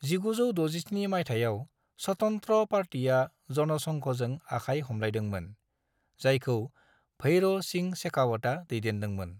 1967 माइथायाव स्वतंत्र पार्टीआ जनसंघजों आखाय हमलायदोंमोन, जायखौ भैरों सिंह शेखावता दैदेनदोंमोन।